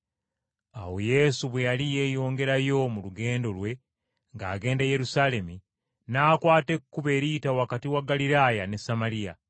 Awo Yesu bwe yali yeeyongerayo mu lugendo lwe ng’agenda e Yerusaalemi, n’akwata ekkubo eriyita wakati wa Ggaliraaya ne Samaliya.